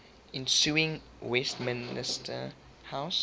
ensuing westminster house